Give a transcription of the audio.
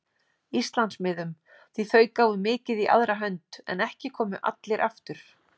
Íslandsmiðum, því þau gáfu mikið í aðra hönd, en ekki komu allir aftur.